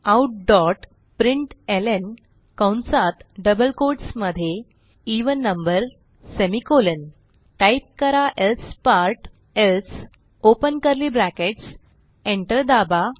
systemoutप्रिंटलं कंसात double quotes मध्ये even number type करा else part else open curly brackets enter दाबा